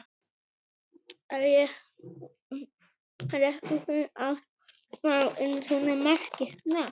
Er ekki fínt að ná inn svona marki strax?